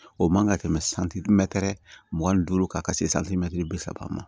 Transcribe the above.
O man ka tɛmɛ santimɛtɛrɛ mugan ni duuru kan ka se santimɛtiri bi saba ma